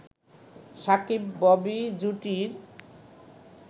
Shakib-Bobby জুটির